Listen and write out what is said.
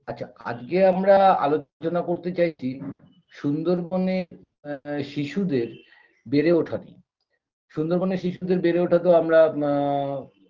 আচ্ছা আজকে আমরা আলোচনা করতে চাইছি সুন্দরবনে এ শিশুদের বেড়ে ওঠা নিয়ে সুন্দরবনে শিশুদের বেড়ে ওঠা তো আমরা আ